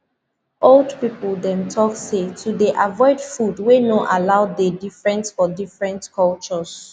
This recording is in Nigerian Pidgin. old people dem talk say to dey avoid food wey no allow dey different for different cultures